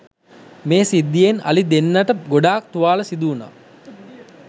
මේ සිද්ධියෙන් අලි දෙන්නට ගොඩාක් තුවාල සිදුවුණා.